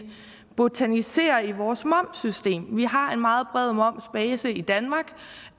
botaniserer i vores momssystem vi har en meget bred momsbase i danmark